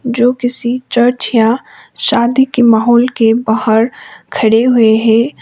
जो किसी चर्च या शादी की माहौल के बाहर खड़े हुए है।